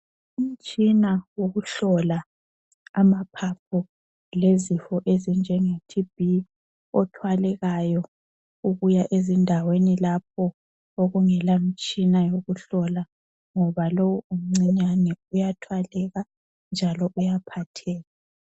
Umtshina wokuhlola amaphaphu lezifo ezinjenge TB othwalekayo ubuya ezindaweni lapho okungelamtshina yokuhlola ngoba lowu omncinyane uyathwaleka njalo uyaphatheka.